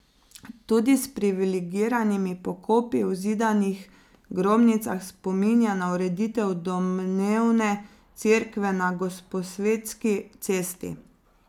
Tudi s privilegiranimi pokopi v zidanih grobnicah spominja na ureditev domnevne cerkve na Gosposvetski cesti.